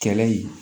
Kɛlɛ ye